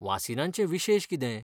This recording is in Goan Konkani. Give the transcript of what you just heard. वासीनांचे विशेश कितें?